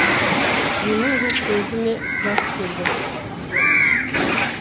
менің де көзіме жас келді